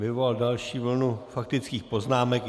Vyvolal další vlnu faktických poznámek.